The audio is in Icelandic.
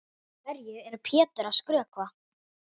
Hverju er Pétur að skrökva?